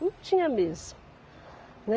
Não tinha mesmo.